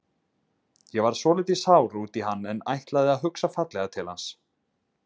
Ég varð svolítið sár út í hann en ætla að hugsa fallega til hans.